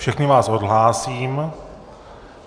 Všechny vás odhlásím.